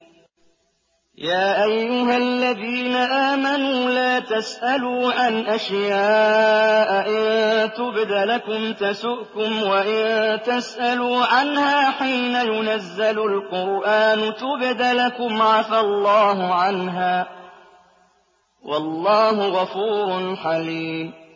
يَا أَيُّهَا الَّذِينَ آمَنُوا لَا تَسْأَلُوا عَنْ أَشْيَاءَ إِن تُبْدَ لَكُمْ تَسُؤْكُمْ وَإِن تَسْأَلُوا عَنْهَا حِينَ يُنَزَّلُ الْقُرْآنُ تُبْدَ لَكُمْ عَفَا اللَّهُ عَنْهَا ۗ وَاللَّهُ غَفُورٌ حَلِيمٌ